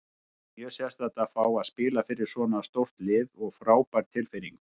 Það var mjög sérstakt að fá að spila fyrir svona stórt lið og frábær tilfinning.